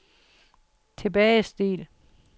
tilbagestil